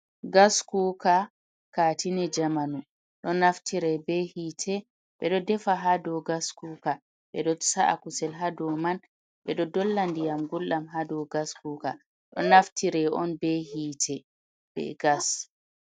Gas kuuka katini jamanu. Ɗo naftire be hite, bedo defa ha dau gas kuka be do sa’a kusel hadau man. Be ɗo dolla ndiyam guldam hadau gas kuuka do naftire on be hite be gas.